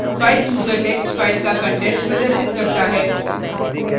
filechooser text file का contents प्रदर्शित करता है